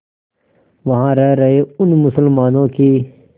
वहां रह रहे उन मुसलमानों की